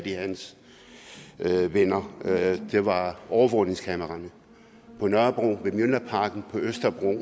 i hans venner det var overvågningskameraerne på nørrebro ved mjølnerparken og på østerbro